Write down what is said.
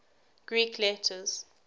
greek letters